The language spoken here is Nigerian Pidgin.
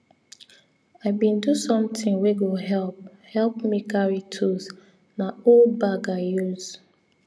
i bin do something wey go help help me carry tools na old bag i use